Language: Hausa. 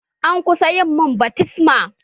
An kusa yi mun baftisma.